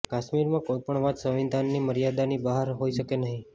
કાશ્મીરમાં કોઈપણ વાત સંવિધાનની મર્યાદાની બહાર હોઈ શકે નહીં